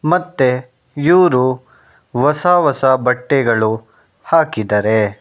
ಮತ್ತೆ ಇವ್ರು ಹೊಸ ಹೊಸ ಬಟ್ಟೆಗಳು ಹಾಕಿದಾರೆ.